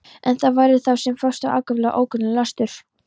En þær voru þá sem nú ákaflega ókvenlegur löstur.